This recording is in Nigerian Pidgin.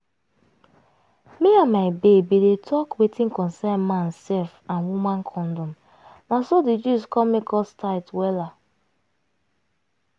me and my babe bin dey talk wetin concern man sef and woman condom na so di gist come make us tight wella